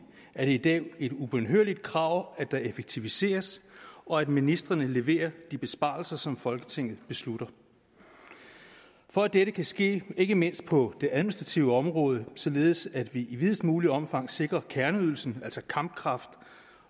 er det i dag et ubønhørligt krav at der effektiviseres og at ministrene leverer de besparelser som folketinget beslutter for at dette kan ske ikke mindst på det administrative område således at vi i videst muligt omfang sikrer kerneydelsen altså kampkraft